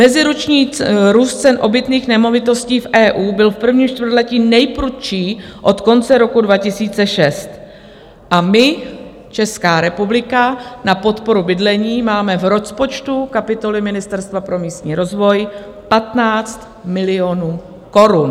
Meziroční růst cen obytných nemovitostí v EU byl v prvním čtvrtletí nejprudší od konce roku 2006 a my, Česká republika, na podporu bydlení máme v rozpočtu kapitoly Ministerstva pro místní rozvoj 15 milionů korun.